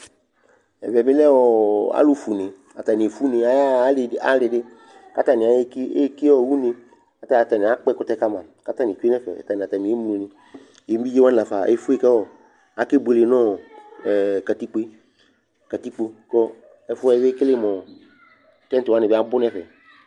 Ɛvɛ bɩ lɛ ɔ ɔ alʋfue une Atanɩ efue une, ayaɣa alɩ dɩ alɩ dɩ kʋ atanɩ aɣa eki ɔ une Ata atanɩ akpɔ ɛkʋtɛ ka ma kʋ atanɩ tsue nʋ ɛfɛ, ata nʋ atamɩ emlonɩ Evidze la fa efue kʋ ɔ kʋ akebuele nʋ ɔ ɛ katikpo yɛ, katikpo kʋ ɔ ɛfʋ yɛ bɩ ekele mʋ ɔ tɛ̃t wanɩ bɩ abʋ nʋ ɛfɛ